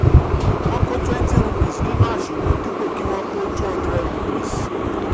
wọ́n kọ twenty rupees nínú aṣunwon dipo ki wọ́n kọ two hundred rupees